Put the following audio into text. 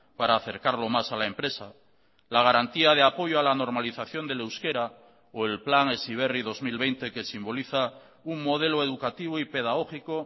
para acercarlo más a la empresa la garantía de apoyo a la normalización del euskera o el plan heziberri dos mil veinte que simboliza un modelo educativo y pedagógico